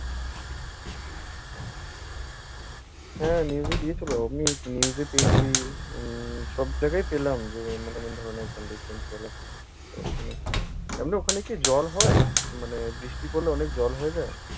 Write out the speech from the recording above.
হ্যাঁ, news দিয়েছিলো। আমি news এ পেয়েছি, উম্ম সবজায়গায় পেলাম যে অন্য কোনো ধরনের conditions বলো। ওখানে, এমনি ওখানে কি জল হয়? মানে বৃষ্টি পড়লে অনেক জল হয়ে যায়?